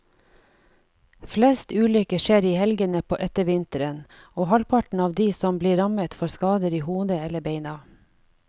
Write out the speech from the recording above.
Flest ulykker skjer i helgene på ettervinteren, og halvparten av de som blir rammet får skader i hodet eller beina.